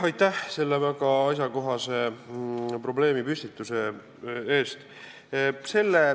Aitäh selle väga asjakohase probleemipüstituse eest!